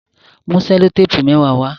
Mú sellotape mẹwa wá!